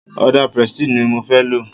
Ọdà prestige ni mo fẹ́ lo.